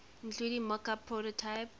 including mockup prototype